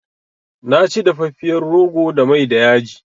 Na ci dafafiyar rogo da mai da yaji